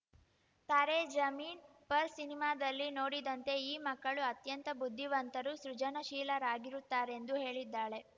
ತಾರೇ ಜಮೀನ್ ಪರ್ ಸಿನಿಮಾದಲ್ಲಿ ನೋಡಿದಂತೆ ಈ ಮಕ್ಕಳು ಅತ್ಯಂತ ಬುದ್ಧಿವಂತರು ಸೃಜನಶೀಲರಾಗಿರುತ್ತಾರೆಂದು ಹೇಳಿದ್ದಾಳೆ